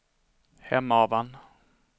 Hemavan